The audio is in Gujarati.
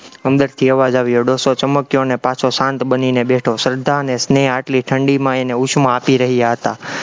અંદરથી અવાજ આવ્યો, ડોસો ચમક્યો અને પાછો શાંત બનીને બેઠો, શ્રદ્ધા અને સ્નેહ આટલી ઠંડીમાં એને ઉષ્મા આપી રહ્યા હતા.